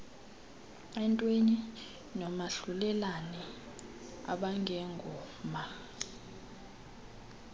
entweni nomahlulelane abangengoma